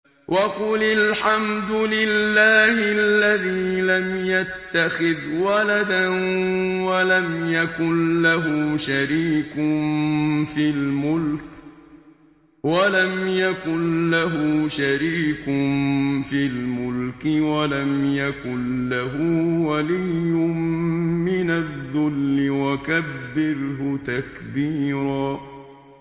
وَقُلِ الْحَمْدُ لِلَّهِ الَّذِي لَمْ يَتَّخِذْ وَلَدًا وَلَمْ يَكُن لَّهُ شَرِيكٌ فِي الْمُلْكِ وَلَمْ يَكُن لَّهُ وَلِيٌّ مِّنَ الذُّلِّ ۖ وَكَبِّرْهُ تَكْبِيرًا